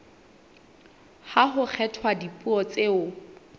ha ho kgethwa dipuo tseo